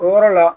O yɔrɔ la